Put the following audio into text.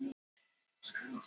Hreistur í hendinni.